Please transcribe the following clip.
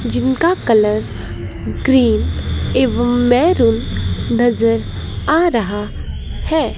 जिनका colour green एवं maroon नजर आ रहा है।